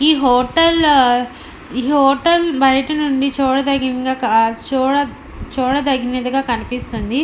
ఈ హోటల్ ఆ ఈ హోటల్ బయట నుండి చూడ చూడ దగినదిగా కనిపిస్తుంది.